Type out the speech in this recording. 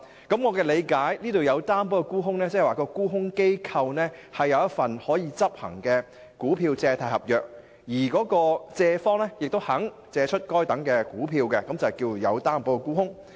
據我理解，"有擔保沽空"是指沽空機構持有一份可執行的股票借貸合約，而借方亦願意借出該等股票，這便是"有擔保沽空"。